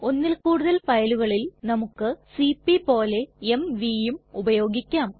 ഒന്നിൽ കൂടുതൽ ഫയലുകളിൽ നമുക്ക് സിപി പോലെ mvയും ഉപയോഗിക്കാം